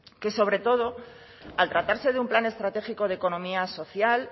que sobre todo al tratarse de un plan estratégico de economía social